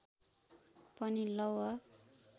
पनि लौह